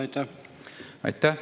Aitäh!